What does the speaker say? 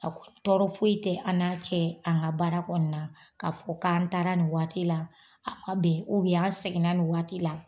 A ko tɔɔrɔ foyi tɛ an n'a cɛ an ŋa baara kɔɔna na. Ka fɔ k'an taara ni waati la, a ma bɛn an seginna ni waati la